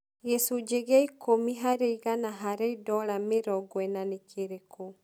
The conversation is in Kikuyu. Gicũnjĩ gĩa ikũmi harĩ igana harĩ dola mĩrongo ĩna nĩ kĩrĩkũ